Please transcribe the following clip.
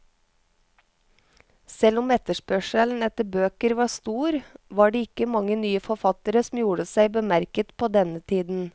Selv om etterspørselen etter bøker var stor, var det ikke mange nye forfattere som gjorde seg bemerket på denne tiden.